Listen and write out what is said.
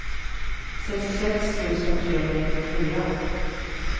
sextiosex tusen trehundranittiofyra